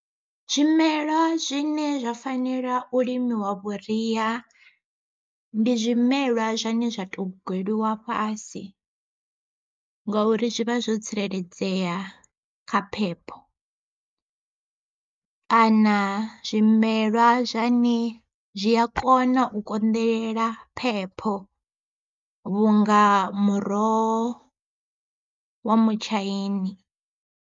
Zwimela zwine zwa fanela u limiwa vhuria ndi zwimelwa zwane zwa to gweliwa fhasi ngauri zwi vha zwo tsireledzea kha phepho, kana zwimelwa zwane zwi a kona u konḓelela phepho vhunga muroho wa mutshaini.